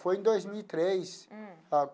Foi em dois mil e três.